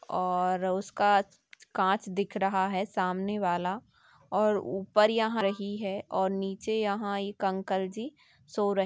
और उसका कांच दिख रहा है सामने वाला और ऊपर यहाँ रही है और नीचे यहाँ एक अंकल जी सो रहे--